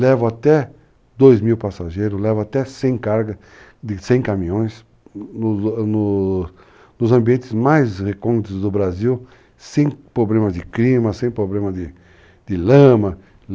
Levo até dois mil passageiros, levo até cem cargas, cem caminhões, no nos ambientes mais recônditos do Brasil, sem problema de clima, sem problema de lama.